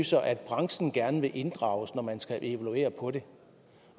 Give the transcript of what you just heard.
står at branchen gerne vil inddrages når man skal evaluere